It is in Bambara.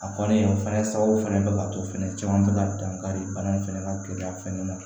A fɔlen o fana sababu fana bɛ k'a to fɛnɛ caman bɛ ka dankari bana in fɛnɛ la keleya fɛnɛ ma